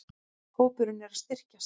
Hópurinn er að styrkjast.